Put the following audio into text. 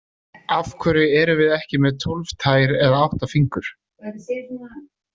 Af hverju erum við ekki með tólf tær eða átta fingur?